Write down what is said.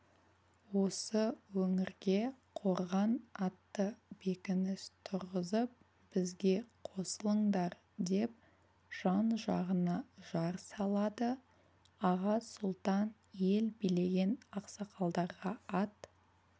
осы өңірге қорған атты бекініс тұрғызып бізге қосылыңдар деп жан-жағына жар салады аға сұлтан ел билеген ақсақалдарға ат